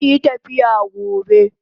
Zanyi tafiya gobe